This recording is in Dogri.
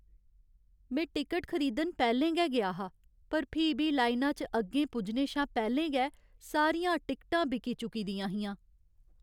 में टिकट खरीदन पैह्लें गै गेआ हा, पर फ्ही बी लाइना च अग्गें पुज्जने शा पैह्लें गै सारियां टिकटां बिकी चुकी दियां हियां।